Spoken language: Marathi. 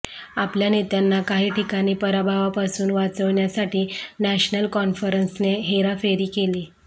आपल्या नेत्यांना काही ठिकाणी पराभवापासून वाचविण्यासाठी नॅशनल कॉन्फरन्सने हेराफेरी केली